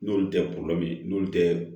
N'olu tɛ n'olu tɛ